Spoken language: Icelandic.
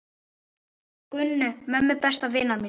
Gunnu, mömmu besta vinar míns.